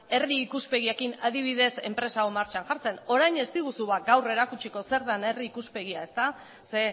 herri ikuspegiekin adibidez enpresa hau martxan jartzen orain ez diguzu ba gaur erakutsiko zer dan herri ikuspegia ezta ze